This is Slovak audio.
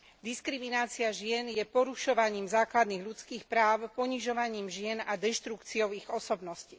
Diskriminácia žien je porušovaním základných ľudských práv, ponižovaním žien a deštrukciou ich osobnosti.